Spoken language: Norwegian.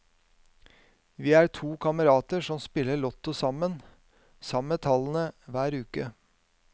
Vi er to kamerater som spiller lotto sammen, samme tallene hver uke.